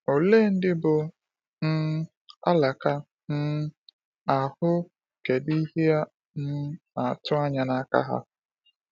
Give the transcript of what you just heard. Olee ndị bụ́ “ um alaka um ” ahụ, kedụ ihe a um na-atụ anya n’aka ha?